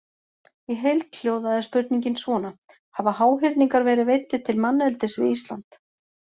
Í heild hljóðaði spurningin svona: Hafa háhyrningar verið veiddir til manneldis við Ísland?